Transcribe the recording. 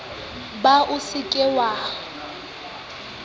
ba o se ke wa